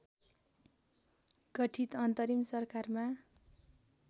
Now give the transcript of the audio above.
गठित अन्तरिम सरकारमा